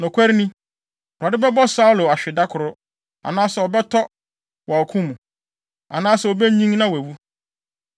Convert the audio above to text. Nokware ni, Awurade bɛbɔ Saulo ahwe da koro, anaasɛ ɔbɛtɔ wɔ ɔko mu, anaasɛ obenyin na wawu.